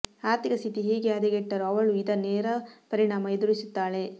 ಆರ್ಥಿಕ ಸ್ಥಿತಿ ಹೇಗೆ ಹದಗೆಟ್ಟರೂ ಅವಳೂ ಇದರ ನೇರ ಪರಿಣಾಮ ಎದುರಿಸುತ್ತಾಳೆ